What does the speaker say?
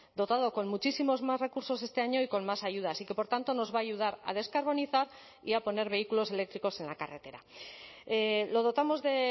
dotado con muchísimos más recursos este año y con más ayudas y que por tanto nos va a ayudar a descarbonizar y a poner vehículos eléctricos en la carretera lo dotamos de